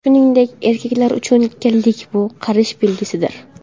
Shuningdek, erkaklar uchun kallik bu – qarish belgisidir.